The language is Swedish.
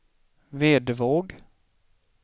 Vedevåg